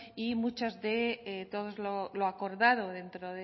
y todo lo acordado dentro